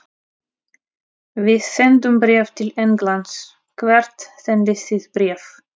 Við sendum bréf til Englands. Hvert sendið þið bréf?